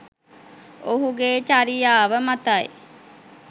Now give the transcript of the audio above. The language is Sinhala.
ඔහුගේ චරියාව මතයි.